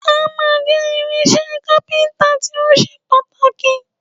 Ámà jẹ́ irinṣẹ́ kápíntà tó ṣe pàtàkì